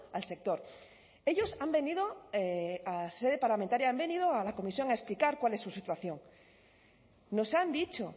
al sector ellos han venido a sede parlamentaria han venido a la comisión a explicar cuál es su situación nos han dicho